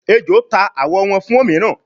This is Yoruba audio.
ejó ta awọ wón fún òmíràn